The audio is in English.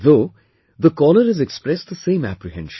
Though the caller has expressed the same apprehension